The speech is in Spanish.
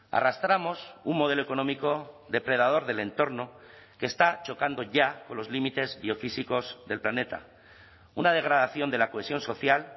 arrastramos un modelo económico depredador del entorno que está chocando ya con los límites biofísicos del planeta una degradación de la cohesión social